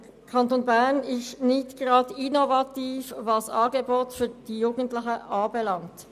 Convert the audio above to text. Der Kanton Bern ist nicht gerade innovativ, was Angebote für die Jugendlichen anbelangt.